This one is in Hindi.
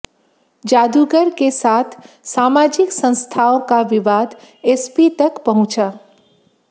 जादूगर के साथ सामाजिक संस्थाओं का विवाद एस पी तक पहुंचा